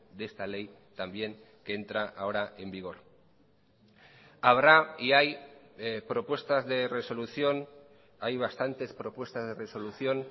de esta ley también que entra ahora en vigor habrá y hay propuestas de resolución hay bastantes propuestas de resolución